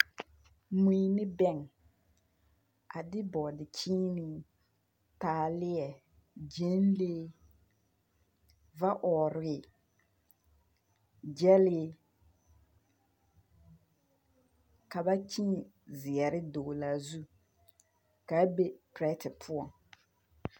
Mui ne bɛn, a de bɔɔdekyeenee, taaleɛ, gyɛnlee, va-ɔɔre, gyɛlee, ka ba kyeeŋ zeɛre dɔglaa zu, ka a be perɛtɛ poɔ. 13420